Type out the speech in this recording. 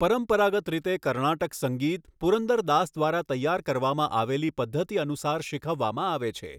પરંપરાગત રીતે કર્ણાટક સંગીત પુરંદર દાસ દ્વારા તૈયાર કરવામાં આવેલી પદ્ધતિ અનુસાર શીખવવામાં આવે છે.